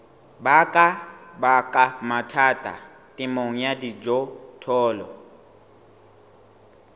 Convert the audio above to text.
baka mathata temong ya dijothollo